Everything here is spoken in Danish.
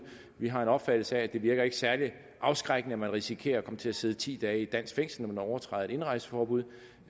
vi har en opfattelse af at det ikke virker særlig afskrækkende at man risikerer at komme til at sidde ti dage i et dansk fængsel når man overtræder et indrejseforbud